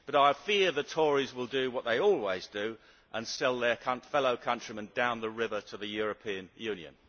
But I fear the Tories will do what they always do and sell their fellow countrymen down the river to the European Union.